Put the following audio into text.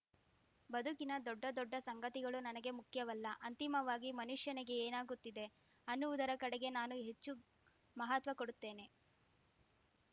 ಬದುಕಿನ ದೊಡ್ಡ ದೊಡ್ಡ ಸಂಗತಿಗಳು ನನಗೆ ಮುಖ್ಯವಲ್ಲ ಅಂತಿಮವಾಗಿ ಮನುಷ್ಯನಿಗೆ ಏನಾಗುತ್ತಿದೆ ಅನ್ನುವುದರ ಕಡೆಗೆ ನಾನು ಹೆಚ್ಚು ಮಹತ್ವ ಕೊಡುತ್ತೇನೆ